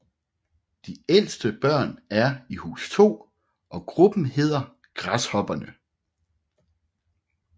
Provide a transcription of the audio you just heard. De ældste børn er i Hus 2 og gruppen hedder Græshopperne